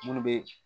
Munnu be